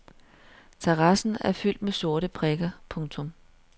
Terrassen er fyldt med sorte prikker. punktum